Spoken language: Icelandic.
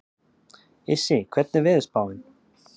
Issi, hvernig er veðurspáin?